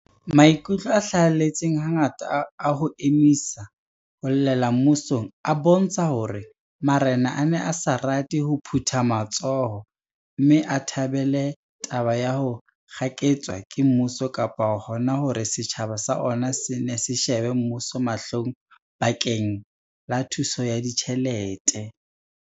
Maikutlo a hlahelletseng hangata a ho emisa ho llela mmusong a bontsha hore ma rena a ne a sa rate ho phutha matsoho mme a thabele taba ya ho kgaketswa ke mmuso kapa hona hore setjhaba sa ona se nne se shebe mmuso mahlong bakeng la thuso ya ditjhelete.